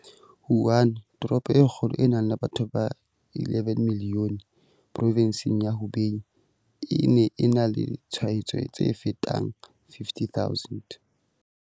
Wuhan, toropo e kgolo e nang le batho ba 11 milione provenseng ya Hubei, e ne e na le ditshwaetso tse fetang 50 000.